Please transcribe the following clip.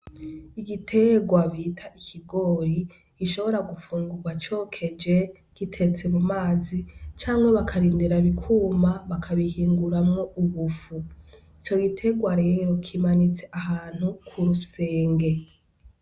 Igiterwa bita ikigori gishobora gufungugwa cokeje, kitetse mumazi, canke bakarindira bikuma bakabihinguramo ubufu. Ico giterwa rero kimanitse ahantu k'urusenge.